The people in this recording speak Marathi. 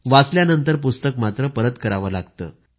वाचल्यानंतर पुस्तक परत करावं लागतं